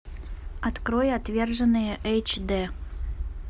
открой отверженные эйч дэ